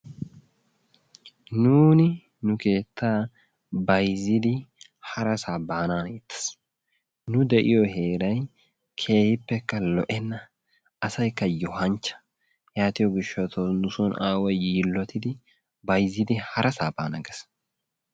Nuuni nu keettaa bayzzidi harasaa baanaaneettees. Nu de'iyo heeray keehippekka lo"enna. Asaykka yohanchcha. Yaatiyo gishshatawu nu son aaway yiillotidi harasaa baana gees.